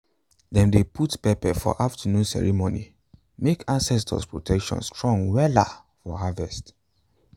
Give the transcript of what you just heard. dem dey put pepper for afternoon ceremony make ancestors protection strong wella for harvet